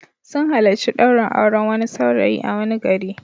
Sun halarci ɗaurin auren wani saurayi a wani gari.